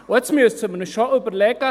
Nun müssen wir uns schon überlegen: